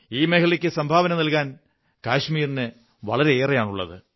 ഈ മേഖലയ്ക്കു സംഭാവന നല്കാാൻ കാശ്മീരിന് വളരെയേറെയാണുള്ളത്